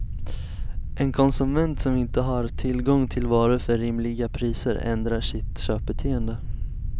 En konsument som inte har tillgång till varor för rimliga priser ändrar sitt köpbeteende.